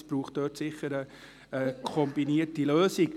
Es braucht sicher eine kombinierte Lösung.